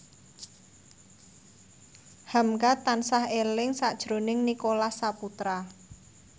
hamka tansah eling sakjroning Nicholas Saputra